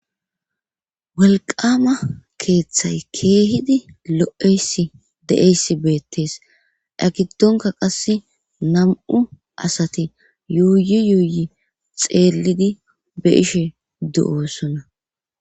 walqama keeththay keehidi lo7eyssi de7eysi beettees egidonka qass nam7u asati yuuyi yuuyi xeellidi be ishe du7osona